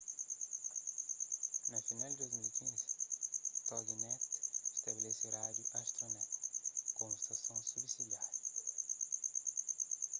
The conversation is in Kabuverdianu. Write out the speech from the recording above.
na final di 2015 toginet stabelese rádiu astronet komu stason subsidiáriu